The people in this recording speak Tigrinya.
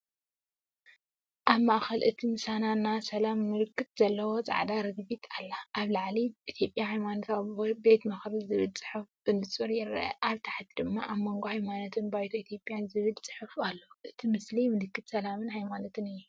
ኣብ ማእከል እቲ ምስሊ ና ሰላም ምልክት ዘለዋ ጻዕዳ ርግቢት ኣላ። ኣብ ላዕሊ‘ኢትዮጵያ ሃይማኖታዊ ቤት ምኽሪ’ ዝብል ጽሑፍ ብንጹር ይርአ፣ ኣብ ታሕቲ ድማ "ኣብ መንጎ ሃይማኖታት ባይቶ ኢትዮጵያ'ዝብል ጽሑፍ ኣሎ። እቲ ምስሊ ምልክት ሰላምን ሃይማኖትን እዩ።